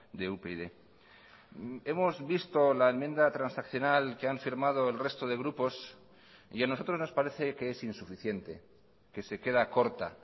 de upyd hemos visto la enmienda transaccional que han firmado el resto de grupos y a nosotros nos parece que es insuficiente que se queda corta